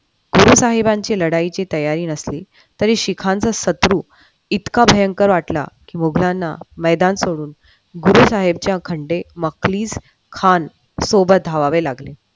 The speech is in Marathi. गुरु साहेबांच्या लढायची तयारी नसली तरी सिख यांच्या शत्रू इतका भयंकर वाटला मुघलांना मैदान सोडून गुरु साहेबांच्या घंटे मफलीस खान सोबत धाबावे लागले.